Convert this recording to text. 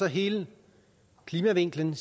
hele klimavinklen